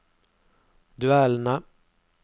duellene